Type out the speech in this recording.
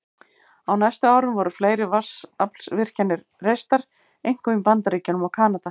Á næstu árum voru fleiri vatnsaflsvirkjanir reistar, einkum í Bandaríkjunum og Kanada.